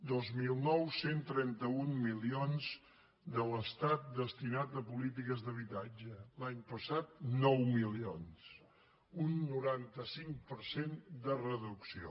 dos mil nou cent i trenta un milions de l’estat destinats a polítiques d’habitatge l’any passat nou milions un noranta cinc per cent de reducció